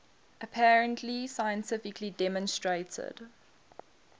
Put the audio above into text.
apparently scientifically demonstrated